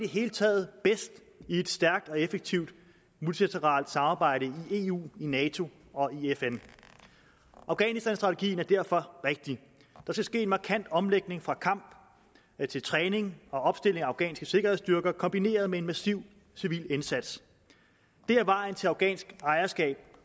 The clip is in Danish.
hele taget bedst i et stærkt og effektivt multilateralt samarbejde i eu i nato og i fn afghanistanstrategien er derfor rigtig der skal ske en markant omlægning fra kamp til træning og opstilling af afghanske sikkerhedsstyrker kombineret med en massiv civil indsats det er vejen til afghansk ejerskab